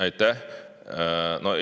Aitäh!